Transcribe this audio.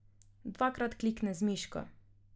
Dvakrat klikne z miško.